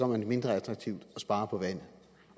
man det mindre attraktivt at spare på vandet